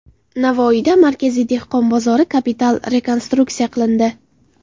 Navoiyda markaziy dehqon bozori kapital rekonstruksiya qilindi.